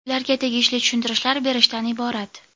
ularga tegishli tushuntirishlar berishdan iborat.